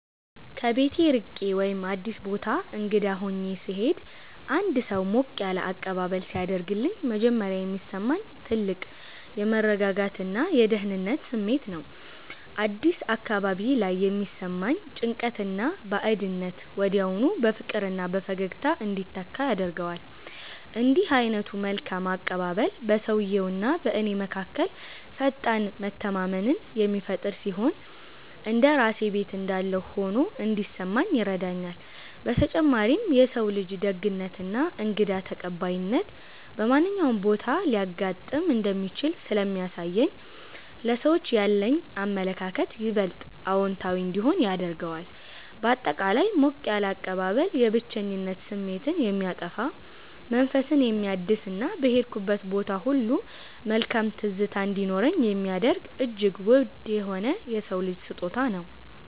ከቤት ርቄ ወይም አዲስ ቦታ እንግዳ ሆኜ ስሄድ አንድ ሰው ሞቅ ያለ አቀባበል ሲያደርግልኝ መጀመሪያ የሚሰማኝ ትልቅ የመረጋጋትና የደህንነት ስሜት ነው። አዲስ አካባቢ ላይ የሚሰማኝን ጭንቀትና ባዕድነት ወዲያውኑ በፍቅርና በፈገግታ እንዲተካ ያደርገዋል። እንዲህ ዓይነቱ መልካም አቀባበል በሰውየውና በእኔ መካከል ፈጣን መተማመንን የሚፈጥር ሲሆን፣ እንደ ራሴ ቤት እንዳለሁ ሆኖ እንዲሰማኝ ይረዳኛል። በተጨማሪም የሰው ልጅ ደግነትና እንግዳ ተቀባይነት በማንኛውም ቦታ ሊያጋጥም እንደሚችል ስለሚያሳየኝ ለሰዎች ያለኝ አመለካከት ይበልጥ አዎንታዊ እንዲሆን ያደርገዋል። ባጠቃላይ ሞቅ ያለ አቀባበል የብቸኝነት ስሜትን የሚያጠፋ፣ መንፈስን የሚያድስና በሄድኩበት ቦታ ሁሉ መልካም ትዝታ እንዲኖረኝ የሚያደርግ እጅግ ውድ የሆነ የሰው ልጅ ስጦታ ነው።